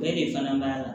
Bɛɛ de fana b'a la